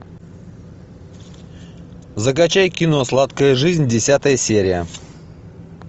закачай кино сладкая жизнь десятая серия